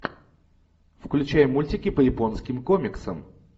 включай мультики по японским комиксам